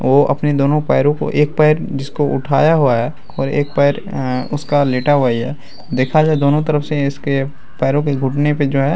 वो अपने दोनों पैरों को एक पैर जिसको उठाया हुआ है और एक पैर अ उसका लेटा हुआ ही है। देखा जाये दोनों तरफ से इसके पैरों के घुटने पे जो है --